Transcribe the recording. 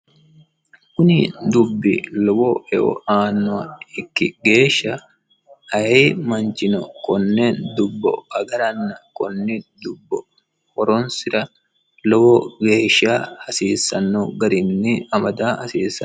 Kuni uduuni lowo horo aanoha ikkikkinni ayee manchino kone dubbu horonsira lowo geeshsha hasiisano garinni amada hasiisano.